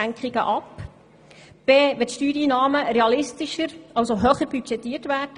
Anderseits müssten die Steuereinnahmen höher, also realistischer budgetiert werden.